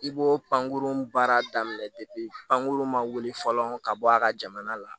I b'o pankurun baara daminɛ pankurun ma wuli fɔlɔ ka bɔ a ka jamana la